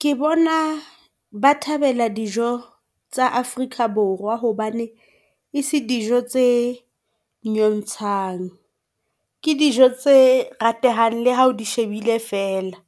Ke bona ba thabela dijo tsa Afrika Borwa hobane ese dijo tse nyontshang. Ke dijo tse ratehang le ha o di shebile fela.